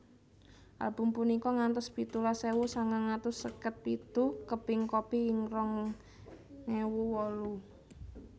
Album punika ngantos pitulas ewu sangang atus seket pitu keping kopi ing rong ewu wolu